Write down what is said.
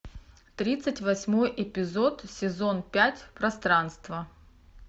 тридцать восьмой эпизод сезон пять пространство